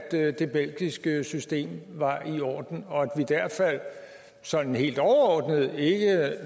det belgiske system var i orden og at vi derfor sådan helt overordnet